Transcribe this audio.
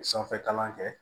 Sanfɛ kalan kɛ